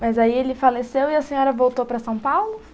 Mas aí ele faleceu e a senhora voltou para São Paulo?